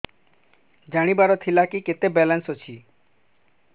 ଜାଣିବାର ଥିଲା କି କେତେ ବାଲାନ୍ସ ଅଛି